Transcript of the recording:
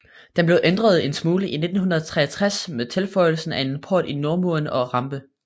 Den blev ændret en smule i 1963 med tilføjelsen af en port i nordmuren og en rampe